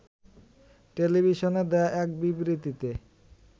টেলিভিশনে দেয়া এক বিবৃতিতে